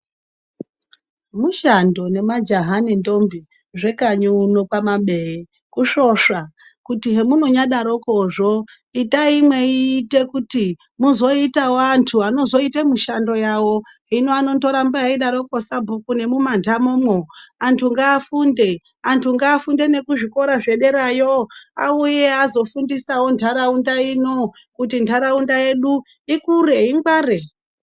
Mushando ne majaha ne ndombi zve kanyi uno kwa mabeye kusvosva kuti he munonya daroko zvo itayi meite kuti muzoitawo antu anozo ite mushando yavo hino anondo ramba eyi daroko sabhuku nemu mandamo mwo antu nga funde antu nga funde neku zvikora zvederayo auye azo fundisawo ndaraunda ino kuti ndaraunda yedu ikure ingware.